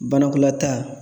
Banakɔlata